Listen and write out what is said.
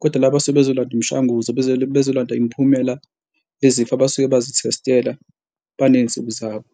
kodwa la basuke bezolanda imishanguzo bezolanda imiphumela bezifo abasuke bazithestela banezinsuku zabo.